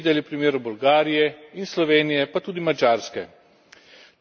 Teroristični napad v Kumanovem je drugi razlog za destabilizacijo.